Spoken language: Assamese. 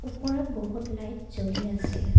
ওপৰত বহুত লাইট জ্বলি আছে।